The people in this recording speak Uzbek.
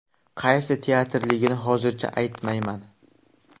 Qaysi teatrligini hozircha aytmayman.